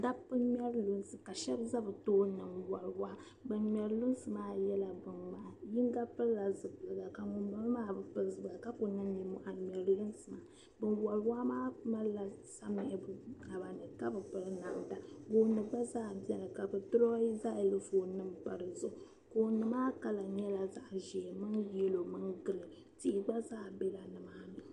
Dabba n-ŋmɛri luŋsi ka niriba be bi tooni n-wari waa. Ban ŋmɛri luŋsi maa yɛla bin' ŋmahi. Yinga piri la zupilga ka ŋun bala maa bi pili zupilga ka kuli niŋ ninmɔhi n-ŋmɛri luŋsi maa. Ban wari waa maa malila samiɣigu bi naba ni ka bi piri namda. Gooni gba zaa beni ka bi draw xylophone pa di zuɣu. Gooni maa color nyɛla zaɣa ʒee min yellow min green. Tihi gba zaa bela ni maa ni.